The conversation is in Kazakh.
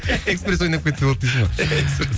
экспресс ойнап кетсе болды дейсің ғой иә экспресс